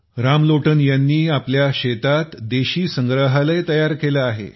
रामलोटन यांनी आपल्या शेतात देशी संग्रहालय तयार केले आहे